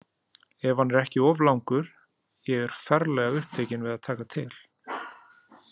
Ef hann er ekki of langur, ég er ferlega upptekin við að taka til.